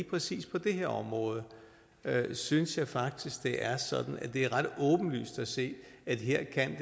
præcis på det her område synes jeg faktisk det er ret åbenlyst at se at her kan